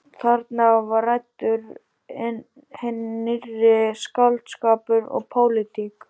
Þarna var ræddur hinn nýrri skáldskapur og pólitík.